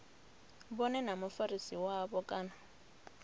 vhone na mufarisi wavho kana